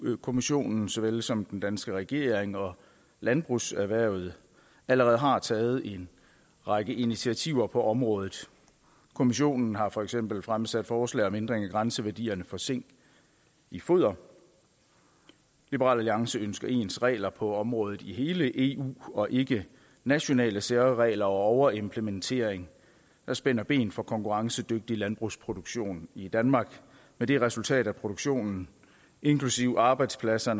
kommissionen så vel som den danske regering og landbrugserhvervet allerede har taget en række initiativer på området kommissionen har for eksempel fremsat forslag om ændring i grænseværdierne for zink i foder liberal alliance ønsker ens regler på området i hele eu og ikke nationale særregler og overimplementering der spænder ben for konkurrencedygtig landbrugsproduktion i danmark med det resultat at produktionen inklusive arbejdspladser